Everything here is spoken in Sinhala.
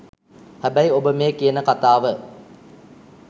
හැබැයි ඔබ මේ කියන කතාව